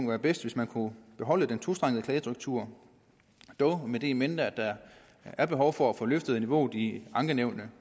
være bedst hvis man kunne beholde den tostrengede klagestruktur dog med det in mente at der er behov for at få løftet niveauet i ankenævnene